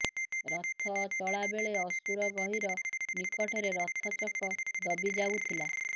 ରଥ ଚଳା ବେଳେ ଅସୁରଗହୀର ନିକଟରେ ରଥ ଚକ ଦବିଯାଉଥିଲା